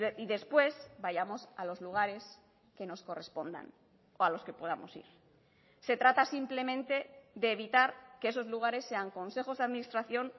y después vayamos a los lugares que nos correspondan o a los que podamos ir se trata simplemente de evitar que esos lugares sean consejos de administración